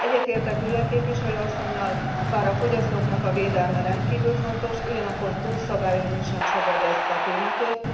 Egyetértek Rühle képviselő asszonnyal, bár a fogyasztóknak a védelme rendkívül fontos, ugyanakkor túlszabályozni sem szabad ezt a témakört.